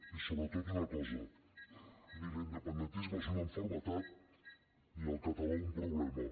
i sobretot una cosa ni l’independentisme és una malaltia ni el català un problema